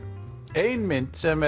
ein mynd sem